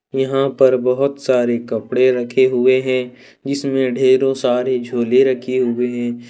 यहां पर बहुत सारे कपड़े रखे हुए हैं इसमें ढेरों सारे झोले रखे हुए हैं।